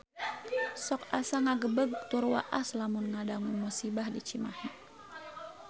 Sok asa ngagebeg tur waas lamun ngadangu musibah di Cimahi